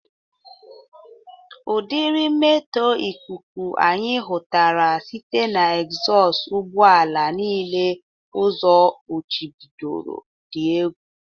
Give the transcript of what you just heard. Ụdịrị mmetọ ikuku anyị hụtara site na ezọst ụgbọ ala niile ụzọ kpuchibidoro dịrị egwu